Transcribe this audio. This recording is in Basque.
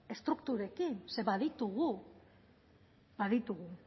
estrukturetik ze baditugu baditugu